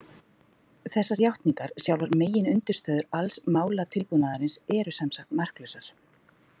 Þessar játningar, sjálfar meginundirstöður alls málatilbúnaðarins, eru sem sagt marklausar.